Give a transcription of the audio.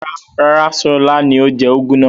Rárá, Ṣọlá ni ó jẹ úgú náà.